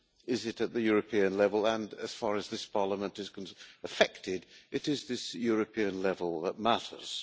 is it at the European level? And as far as this Parliament is affected it is this European level that matters.